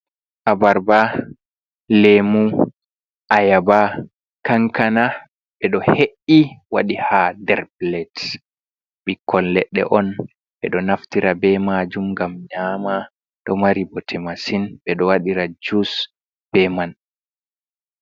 Abarba, lemu, ayaba, kankana, ɓe ɗo he’i waɗi ha nder plat ɓikkoi leɗɗe e on ɓe ɗo naftira be majum gam nyama ɗo mari bote masin ɓe ɗo waɗira jus be man.